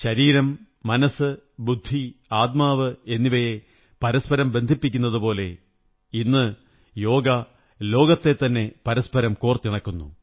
ശരീരം മനസ്സ് ബുദ്ധി ആത്മാവ് എന്നിവയെ പരസ്പരം ബന്ധിപ്പിക്കുന്നതുപോലെ ഇന്ന് യോഗ ലോകത്തെത്തന്നെ പരസ്പരം കോര്ത്തി ണക്കുന്നു